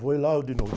Vou ir lá eu de novo.